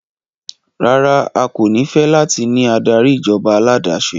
Rara, a ko ni fẹ lati ni adari ijọba aládàáṣe